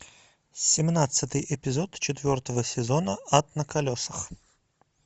семнадцатый эпизод четвертого сезона ад на колесах